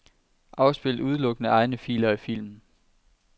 Afspil udelukkende egne filer i filmen.